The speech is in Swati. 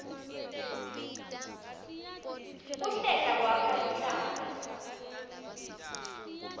kuhlela kwakha luhlaka